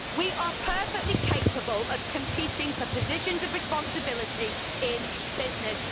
We are perfectly capable of competing for positions of responsibility in business.